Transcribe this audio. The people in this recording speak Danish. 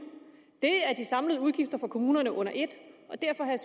er de samlede udgifter for kommunerne under et og derfor har jeg